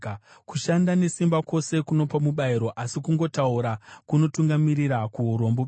Kushanda nesimba kwose kunopa mubayiro, asi kungotaura kunotungamirira kuurombo bedzi.